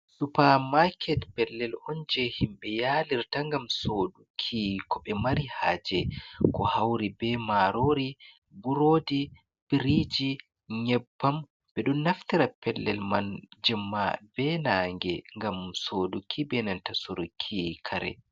Supa market pellel onje himbe yalir ta gam soduki ku ɓe mari haje ku hauri be marori, burodi, biriji, nyebbam be dun naftira pellel man jimma be nange gam soduki benanta suruki kare.